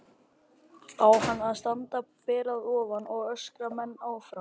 Á hann að standa ber að ofan og öskra menn áfram?